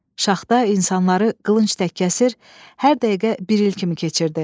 Şaxta insanları qılınc tək kəsir, hər dəqiqə bir il kimi keçirdi.